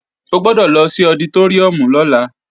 O gbọ́dọ̀ lọ sí ọditóríùm lọ́la